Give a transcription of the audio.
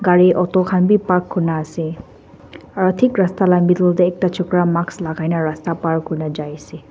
gari auto khan bi park kurina ase aro thik rasta la middle tae ekta chokra mask lakai na rasta par kurina jaiase--